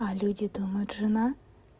а люди думают жена